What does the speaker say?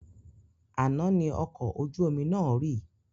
Àná ni ọkọ̀ ojú omi náà rì